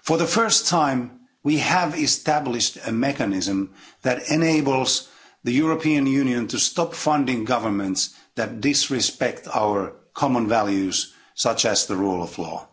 For the first time, we have established a mechanism that enables the European Union to stop funding governments that disrespect our common values, such as the rule of law.